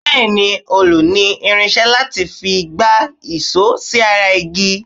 Bẹ́ẹ̀ ni, òlù ní irinṣé láti fi gbá ìṣọ́ sí ara igi.